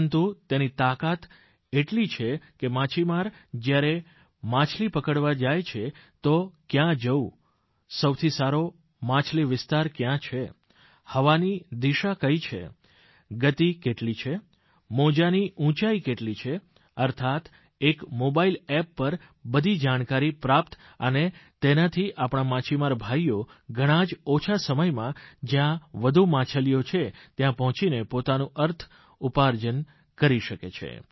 પરંતુ તેની તાકાત એટલી છે કે માછીમાર જ્યારે માછલી પકડવા જાય છે તો કયાં જવું સૌથી સારો માછલી વિસ્તાર કયાં છે હવાની દિશા કઇ છે ગતિ કેટલી છે મોજાંની ઉંચાઇ કેટલી છે અર્થાત્ એક મોબાઇલ એપ પર બઘી જાણકારી પ્રાપ્ત અને તેનાથી આપણા માછીમાર ભાઇઓ ઘણા જ ઓછા સમયમાં જયાં વધુ માછલીઓ છે ત્યાં પહોંચીને પોતાનું અર્થ ઉપાર્જન કરી શકે છે